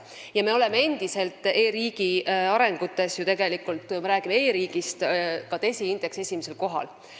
Kui me räägime e-riigi arengutest, siis me oleme endiselt DESI indeksis esimesel kohal.